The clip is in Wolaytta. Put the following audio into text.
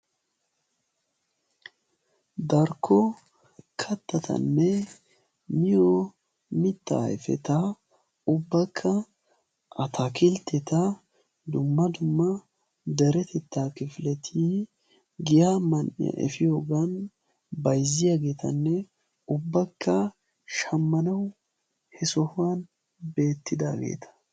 Darkko kattatanne miyo mittaa ayfeta ubbakka ataakiltteta dumma dumma deretettaa kifileti giya mann"iya efiyoogan bayzziyogeetanne ubbakka shammanawu he sohuwan beettidaageeta.